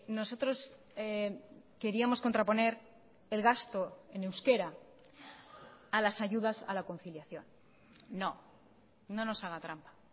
nosotros queríamos contraponer el gasto en euskera a las ayudas a la conciliación no no nos haga trampa